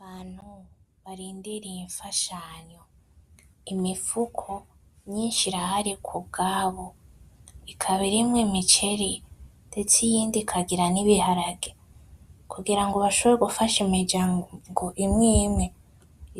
Abantu barindiriye ifashanyo imifuko myinshi irahari kubwabo ikaba irimwo imiceri ,ndeste iyindi ikangira n’ibiharage Kungira ngo bashombore gufasha imiryango imwe imwe